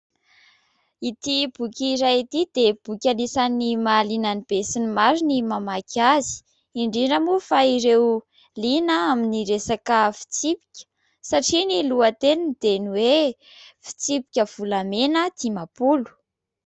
Ity boky iray ity dia boky anisan'ny mahaliana ny be sy ny maro ny mamaky azy, indrindra moa fa ireo liana amin'ny resaka fitsipika satria ny lohateniny dia ny hoe : "Fitsipika volamena dimampolo".